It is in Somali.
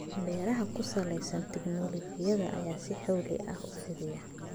Beeraha ku salaysan tignoolajiyada ayaa si xawli ah u fidaya.